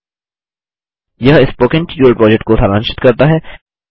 httpspoken tutorialorgWhat is a Spoken Tutorial यह spoken tutorial project को सारांशित करता है